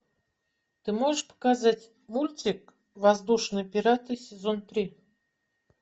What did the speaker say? ты можешь показать мультик воздушные пираты сезон три